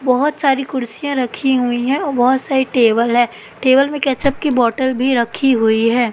बहोत सारी कुर्सियां रखी हुईं हैं और बहोत सारे टेबल है टेबल में केचअप की बोतल भी रखी हुई हैं।